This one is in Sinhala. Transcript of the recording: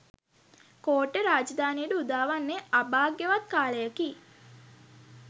කෝට්ටේ රාජධානියට උදාවන්නේ අභාග්‍යවත් කාලයකි